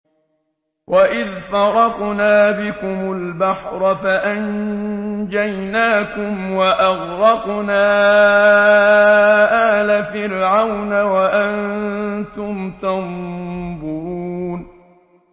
وَإِذْ فَرَقْنَا بِكُمُ الْبَحْرَ فَأَنجَيْنَاكُمْ وَأَغْرَقْنَا آلَ فِرْعَوْنَ وَأَنتُمْ تَنظُرُونَ